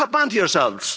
Cop on to yourselves!